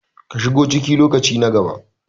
ka shigo ciki lokaci na gaba